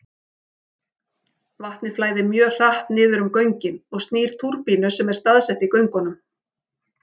Vatnið flæðir mjög hratt niður um göngin og snýr túrbínu sem er staðsett í göngunum.